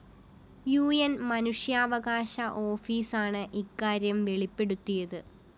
ഉ ന്‌ മനുഷ്യാവകാശ ഓഫീസാണ് ഇക്കാര്യം വെളിപ്പെടുത്തിയത്